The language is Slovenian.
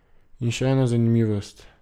In še ena zanimivost.